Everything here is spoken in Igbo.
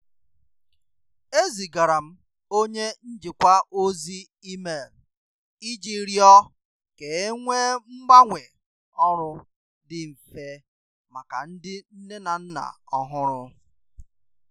Ezigara m onye njikwa ozi email iji rịọ ka e nwee mgbanwe ọrụ dị mfe maka ndị nne na nna ọhụrụ.